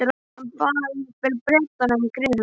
Hann bað jafnvel Bretana um grið handa mér.